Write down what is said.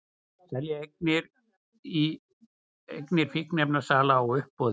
Selja eignir fíkniefnasala á uppboði